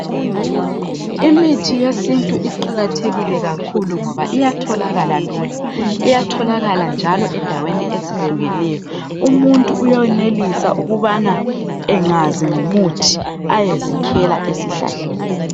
Imithi yesintu iqakathekile kakhulu ngoba iyatholakala lula. Iyatholakala njalo endaweni ezihlukeneyo. Umuntu uyonelisa ukubana engazi ngomuthi ayezikhela esihlahleni.